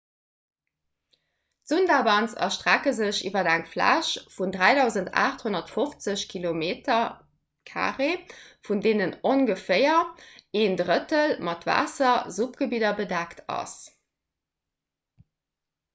d'sundarbans erstrecke sech iwwer eng fläch vun 3 850 km² vun deenen ongeféier een drëttel mat waasser-/suppgebidder bedeckt ass